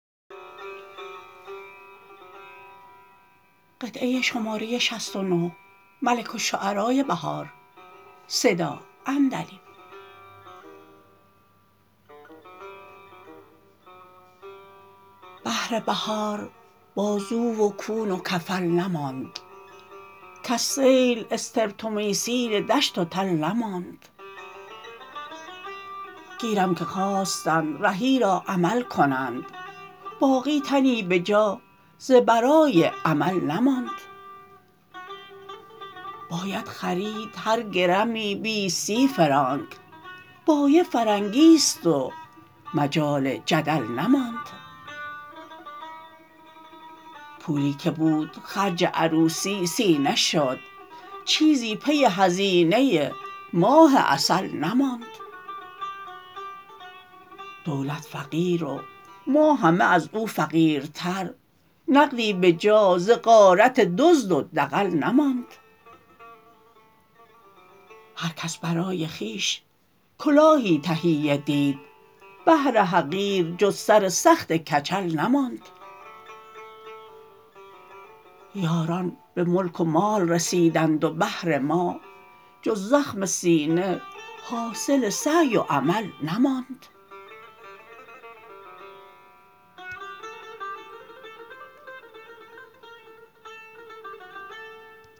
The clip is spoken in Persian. بهر بهار بازو و کون و کفل نماند کز سیل استرپ تومیسین دشت و تل نماند گیرم که خواستند رهی را عمل کنند باقی تنی به جا ز برای عمل نماند باید خرید هر گرمی بیست سی فرانک بایع فرنگی است و مجال جدل نماند پولی که بود خرج عروسی سینه شد چیزی پی هزینه ماه عسل نماند دولت فقیر و ما همه از او فقیرتر نقدی به جا ز غارت دزد و دغل نماند هرکس برای خویش کلاهی تهیه دید بهر حقیر جز سر سخت کچل نماند یاران به ملک و مال رسیدند و بهر ما جز زخم سینه حاصل سعی و عمل نماند